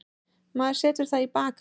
Maður setur það í bakarofn.